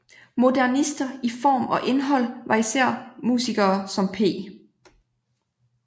Modernister i form og indhold var især musikere som P